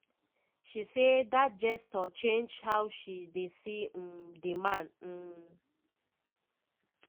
she say dat gesture change how she dey see um di man. um